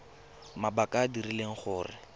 mabaka a a dirileng gore